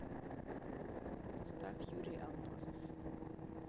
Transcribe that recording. поставь юрий алмазов